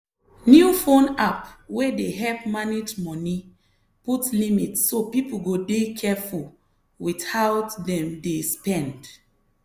new phone app wey dey help manage money put limit so people go dey careful with how dem dey spend.